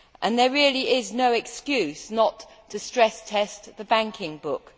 There really is no excuse not to stress test the banking book.